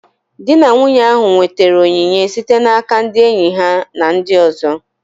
Di na nwunye ahụ nwetara onyinye site n'aka ndị enyi ha na ndị ọzọ